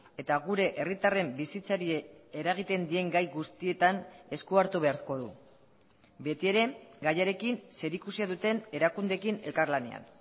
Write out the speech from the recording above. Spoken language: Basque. eta gure herritarren bizitzari eragiten dien gai guztietan eskuartu beharko du beti ere gaiarekin zerikusia duten erakundeekin elkarlanean